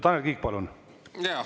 Tanel Kiik, palun!